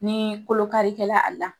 Ni kolo karikɛla a la